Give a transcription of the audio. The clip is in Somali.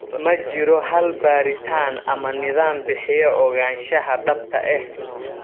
Ma jiro hal baaritaan ama nidaam bixiya ogaanshaha dhabta ah.